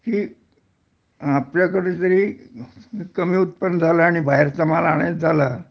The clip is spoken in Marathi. हे आपल्याकडे जरी कमी उत्पन्न झालं आणि बाहेरचा माल आणायचा झाला